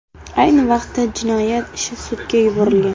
Ayni vaqtda jinoyat ishi sudga yuborilgan.